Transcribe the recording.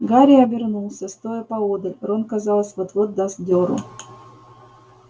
гарри обернулся стоя поодаль рон казалось вот-вот даст дёру